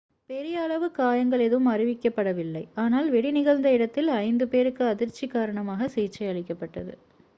பெரிய அளவு காயங்கள் எதுவும் அறிவிக்கப்படவில்லை ஆனால் வெடி நிகழ்ந்த இடத்தில் ஐந்து பேருக்கு அதிர்ச்சி காரணமாக சிகிச்சை அளிக்கப்பட்டது